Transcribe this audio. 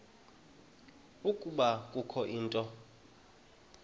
ukuba kukho into